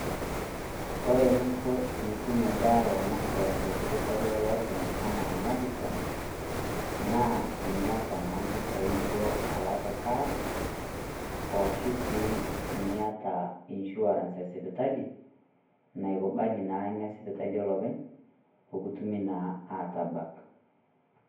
Kore ening'o tenitum ebaata tesipitali eliopeny' enaa Madison naa teniata naa impisai niloito alak cash aashu sii neniata enisuarance esipitalini naikubali naa Ina sipitali olopeny pee kitumii naa aatabak.